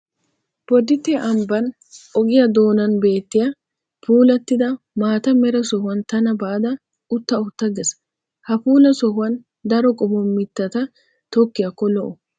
Bodditte ambban ogiyaa doonan beettiya puulattida maata mera sohuwan tana baada utta utta ges. Ha puula sohuwan daro qommo mittata tokkiyaakko lo'o.